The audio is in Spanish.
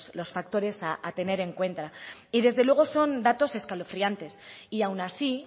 los factores a tener en cuento y desde luego son datos escalofriantes y aun así